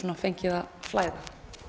fengið að flæða